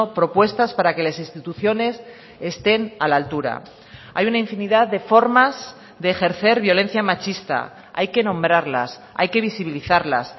propuestas para que las instituciones estén a la altura hay una infinidad de formas de ejercer violencia machista hay que nombrarlas hay que visibilizarlas